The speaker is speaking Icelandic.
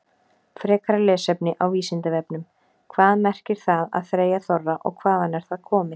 Frekara lesefni á Vísindavefnum: Hvað merkir það að þreyja þorra og hvaðan er það komið?